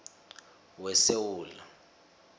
wesewula